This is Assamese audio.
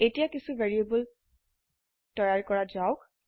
এতিয়া কিছো ভ্যাৰিয়েবল তৈয়াৰ কৰা যাওক